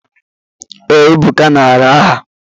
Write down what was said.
Ee, Ebuka nara aha.